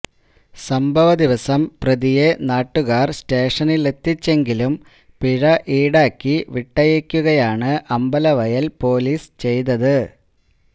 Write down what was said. സംഭവ ദിവസം പ്രതിയേ നാട്ടുകാർ സ്റ്റേഷനിലെത്തിച്ചെങ്കിലും പിഴ ഈടാക്കി വിട്ടയക്കുകയാണ് അമ്പലവയൽ പൊലീസ് ചെയ്തത്